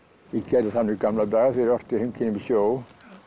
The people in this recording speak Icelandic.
ég gerði það nú í gamla daga þegar ég orti heimkynni við sjó